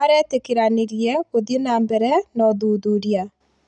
Maretĩkĩranĩirie gũthiĩ na mbere na ũthuthuria